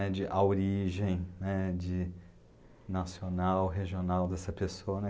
né, de... A origem, né, de, nacional, regional dessa pessoa, né, de,